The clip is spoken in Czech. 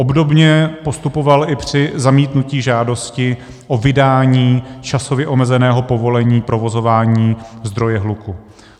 Obdobně postupoval i při zamítnutí žádosti o vydání časově omezeného povolení provozování zdroje hluku.